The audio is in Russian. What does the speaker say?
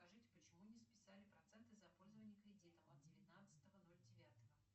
скажите почему не списали проценты за пользование кредитом от девятнадцатого ноль девятого